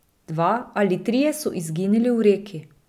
Dva ali trije so izginili v reki.